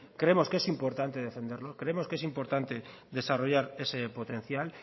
creemos que es importante defenderlo creemos que es importante desarrollar ese potencial